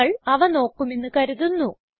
നിങ്ങൾ അവ നോക്കുമെന്ന് കരുതുന്നു